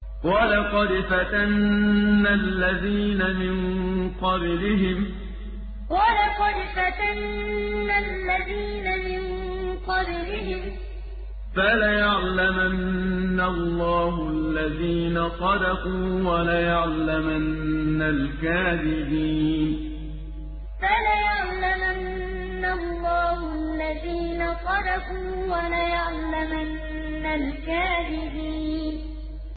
وَلَقَدْ فَتَنَّا الَّذِينَ مِن قَبْلِهِمْ ۖ فَلَيَعْلَمَنَّ اللَّهُ الَّذِينَ صَدَقُوا وَلَيَعْلَمَنَّ الْكَاذِبِينَ وَلَقَدْ فَتَنَّا الَّذِينَ مِن قَبْلِهِمْ ۖ فَلَيَعْلَمَنَّ اللَّهُ الَّذِينَ صَدَقُوا وَلَيَعْلَمَنَّ الْكَاذِبِينَ